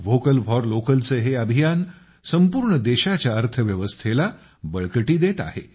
vocal for लोकलचे हे अभियान संपूर्ण देशाच्या अर्थव्यवस्थेला बळकटी देत आहे